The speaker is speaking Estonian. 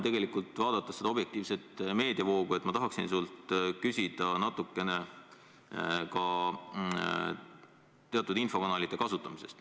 Tegelikult, vaadates kogu seda objektiivset meediavoogu, ma tahan sult küsida teatud infokanalite kasutamise kohta.